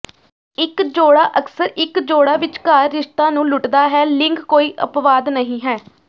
ਇੱਕ ਜੋੜਾ ਅਕਸਰ ਇੱਕ ਜੋੜਾ ਵਿਚਕਾਰ ਰਿਸ਼ਤਾ ਨੂੰ ਲੁੱਟਦਾ ਹੈ ਲਿੰਗ ਕੋਈ ਅਪਵਾਦ ਨਹੀਂ ਹੈ